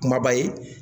Kumaba ye